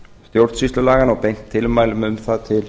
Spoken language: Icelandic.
stjórnsýslulaganna og beint tilmælum um það til